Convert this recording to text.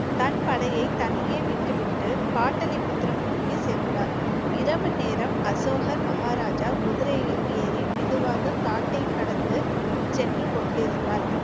தன் படையை தனியே விட்டுவிட்டு பாடலிபுத்திரம் நோக்கி சென்றார். இரவு நேரம் அசோகர் மகாராஜா குதிரையில் ஏறி மெதுவாக காட்டைக் கடந்து சென்று கொண்டிருந்தார்.